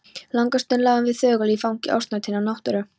Langa stund lágum við þögul í fangi ósnortinnar náttúru.